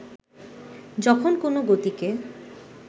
যখন কোনো গতিকে